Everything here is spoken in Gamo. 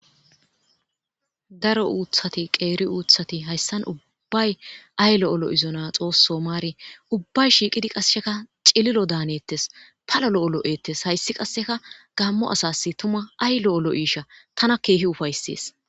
daro uuthati qeeri uuthati hayssan ubbay ay lo7olo7izona xoosso maari ubbay shiiqidi qassheka cililo daanettes palo lo7olo7eettes hayssi qasseka gammo asas tuma ay lo7olo7iisha tana keehi ufaysees